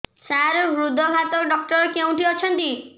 ସାର ହୃଦଘାତ ଡକ୍ଟର କେଉଁଠି ଅଛନ୍ତି